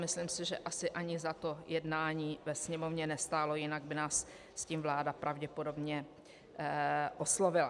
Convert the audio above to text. Myslím si, že asi ani za to jednání ve Sněmovně nestálo, jinak by nás s tím vláda pravděpodobně oslovila.